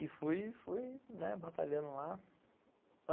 E fui fui batalhando lá.